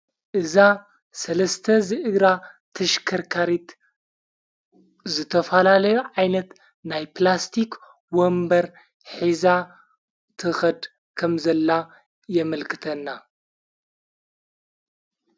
እዛ ሠለስተ ዝእግራ ተሽከርካሪት ዘተፋላለዮ ዓይነት ናይ ጵላስቲኽ ወንበር ኂዛ ተኸድ ከም ዘላ የምልክተና።